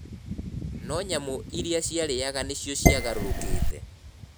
No nyama iria ciarĩaga nĩcio ciagarũrũkĩte.